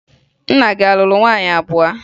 Nna gị a lụrụ nwaanyị abụọ?